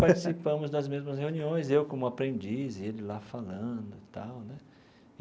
Participamos das mesmas reuniões, eu como aprendiz e ele lá falando tal né.